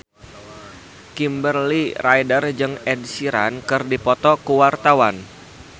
Kimberly Ryder jeung Ed Sheeran keur dipoto ku wartawan